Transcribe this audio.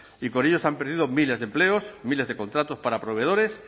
y con ello se han perdido miles de empleos miles de contratos para proveedores